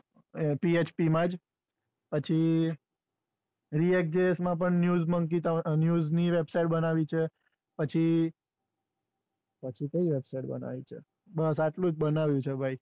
php માં જ, પછી માં પણ news ની વેબસાઈટ બનાવી છે પછી પછી કઈ વેબસાઈટ બનાવી છે બસ એટલુંજ બનાવ્યું છે.